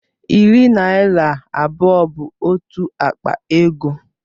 Iri naira abụọ bụ otu akpa ego